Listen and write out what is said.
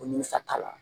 O ni sata la